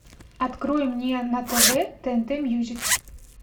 открой мне на тв тнт мьюзик